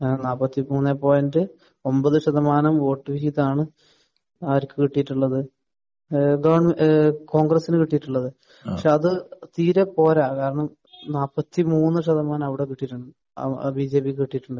അങ്ങനെ നാല്പത്തിമൂന്നേ പോയിന്റ് ഒൻപത് ശതമാനം വോട്ട് വിഹിതമാണ് ആർക്ക് കിട്ടിയിട്ടുള്ളത്? ഏഹ് ദേ ഏഹ് കോൺഗ്രസ്സിന് കിട്ടിയിട്ടുള്ളത്. പക്ഷെ അത് തീരെ പോരാ. കാരണം നാല്പത്തിമൂന്ന് ശതമാനം അവിടെ കിട്ടിയിട്ടുണ്ട്. അവി ആ ബിജെപിക്ക് കിട്ടിയിട്ടുണ്ട്.